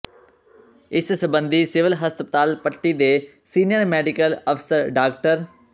ਇਸ ਸਬੰਧੀ ਸਿਵਲ ਹਸਪਤਾਲ ਪੱਟੀ ਦੇ ਸੀਨੀਅਰ ਮੈਡੀਕਲ ਅਫਸਰ ਡਾ